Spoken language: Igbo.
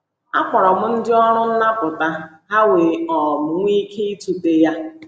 Akpọrọ m ndị ọrụ nnapụta, ha wee um nwee ike ịtụte ya.